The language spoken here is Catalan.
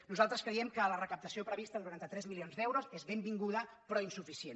nosaltres creiem que la recaptació prevista de noranta tres milions d’euros és benvinguda però insuficient